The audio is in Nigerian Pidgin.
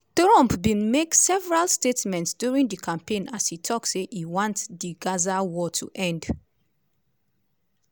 trump bin make several statements during di campaign as e tok say e want di gaza war to end.